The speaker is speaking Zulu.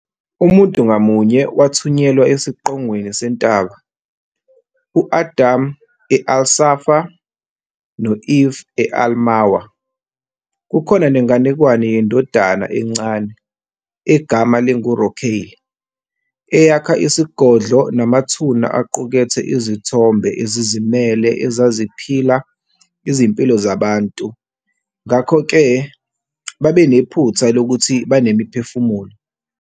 Umuntu ngamunye wathunyelwa esiqongweni sentaba - u-Adam e- al-Safa, no-Eve e- al-Marwah. Kukhona nenganekwane yendodana encane, egama linguRocail, eyakha isigodlo namathuna aqukethe izithombe ezizimele ezaziphila izimpilo zabantu ngakho-ke babenephutha lokuthi banemiphefumulo.